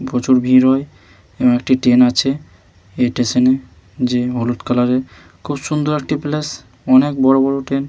প্রচুর ভিড় হয় এবং একটি ট্রেন আছে এই স্টেশনে যে হলুদ কালার এর খুব সুন্দর একটি প্লেস অনেক বড়ো বড়ো ট্রেন --